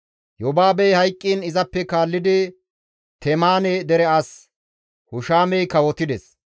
Yobaabey hayqqiin izappe kaallidi Temaane dere as Hushamey kawotides.